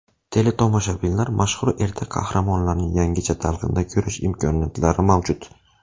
Teletomoshabinlar mashhur ertak qahramonlarini yangicha talqinda ko‘rish imkoniyatlari mavjud.